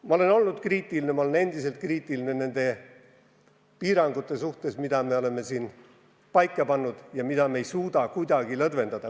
Ma olen olnud kriitiline ja olen endiselt kriitiline nende piirangute suhtes, mis me oleme siin paika pannud ja mida me kuidagi ei suuda lõdvendada.